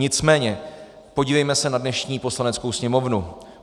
Nicméně podívejme se na dnešní Poslaneckou sněmovnu.